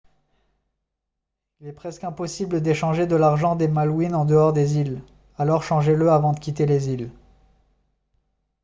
il est presque impossible d'échanger de l'argent des malouines en dehors des îles alors changez-le avant de quitter les îles